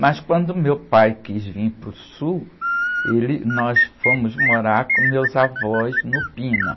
Mas quando meu pai quis vir para o Sul, ele, nós fomos morar com meus avós no.